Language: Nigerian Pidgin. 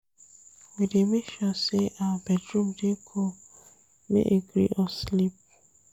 We dey make sure sey our bedroom dey cool make e gree us sleep.